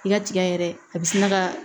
I ka tiga yɛrɛ a bɛ sina ka